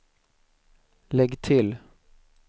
lägg till